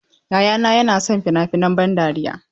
Yayana yana son fina-finan ban dariya.